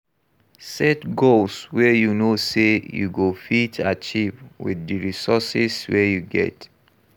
Set goals wey you know sey you go fit achieve with di resources wey you get